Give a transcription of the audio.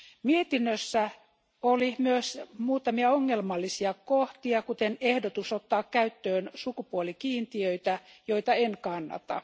Mietinnössä oli myös muutamia ongelmallisia kohtia, kuten ehdotus ottaa käyttöön sukupuolikiintiöitä, joita en kannata.